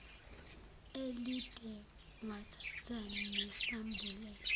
elide wathatha nesambulela